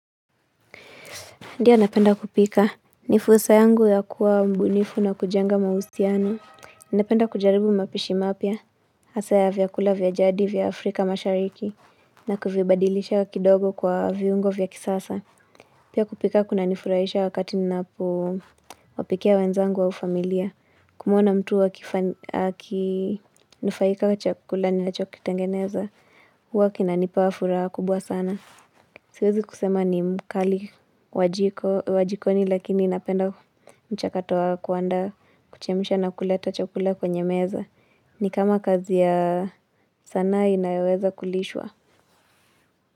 Ndio napenda kupika. Ni fursa yangu ya kuwa mbunifu na kujenga mahusiano. Napenda kujaribu mapishi mapya. Hasa ya vyakula vya jadi vya Afrika mashariki. Na kuvibadilisha kidogo kwa viungo vya kisasa. Pia kupika kuna nifurahisha wakati ninapo wapikia wenzangu au familia. Kumuona mtu akifany, aki nufaika kwa chakula nilachokitengeneza. Huwa kinanipa furaha kubwa sana. Siwezi kusema ni mkali wajiko wajikoni lakini inapenda mchakatoa kuandaa kuchemisha na kuleta chakula kwenye meza. Ni kama kazi ya sanaa inayoweza kulishwa.